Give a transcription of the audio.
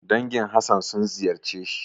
Dangin Hassan sun ziyarce shi.